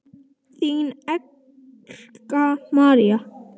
Þín, Erla María.